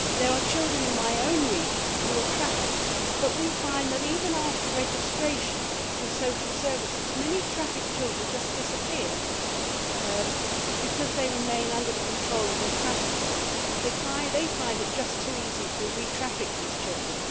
There are children in my own region who are trafficked but we find that, even after registration with social services, many trafficked children just disappear because they remain under the control of their traffickers. They find it just too easy to re traffic these children.